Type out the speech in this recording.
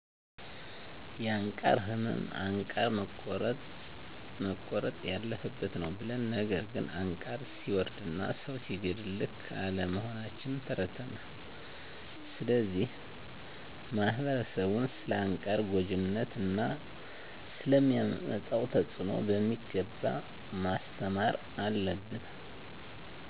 የአንቃር እመም አንቃር መቆረጥ ያለፈበት ነው ብለን ነገር ግን አንቃር ሰወርድና ሰው ሲገድል ልክ አለመሆናችን ተረድተናል